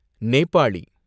Nepali